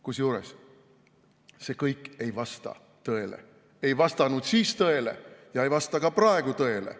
Kusjuures see kõik ei vasta tõele, ei vastanud siis tõele ja ei vasta ka praegu tõele.